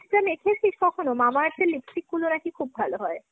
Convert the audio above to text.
Mamaearth মেখেছিস কখোনো? Mamaearth এর lipstick গুলো নাকি খুব ভালো হয়।